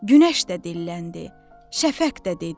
Günəş də dilləndi, şəfək də dedi: